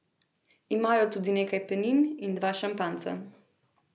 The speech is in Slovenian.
Imajo tudi nekaj penin in dva šampanjca.